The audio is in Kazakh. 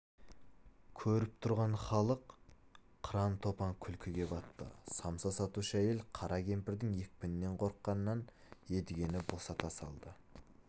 көріп тұрған халық қыран-топан күлкіге батты самса сатушы әйел қара кемпірдің екпінінен қорыққаннан едігені босата салды